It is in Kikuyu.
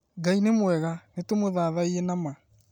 Ngai nĩ mwega, nĩtũmũthathaiye na ma